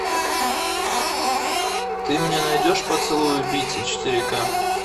ты мне найдешь поцелуй убийцы четыре ка